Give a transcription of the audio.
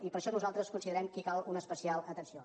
i per això nosaltres considerem que hi cal una especial atenció